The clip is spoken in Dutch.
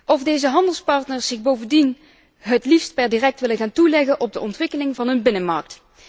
Of deze handelspartners zich bovendien het liefst per direct willen gaan toeleggen op de ontwikkeling van een binnenmarkt.